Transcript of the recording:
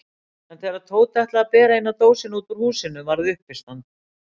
En þegar Tóti ætlaði að bera eina dósina út úr húsinu varð uppistand.